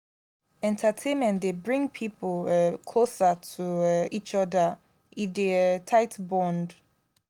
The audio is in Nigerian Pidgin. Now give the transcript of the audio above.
entertainment dey bring pipo um closer to um each other e dey um tight bond.